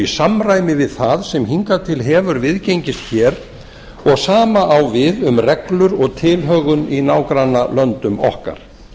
samræmi við það sem hingað til hefur viðgengist hér og sama á við um reglur og tilhögun í nágrannalöndum okkar